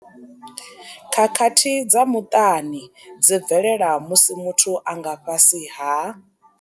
Khakhathi dza muṱani dzi bvelela musi muthu a nga fhasi ha.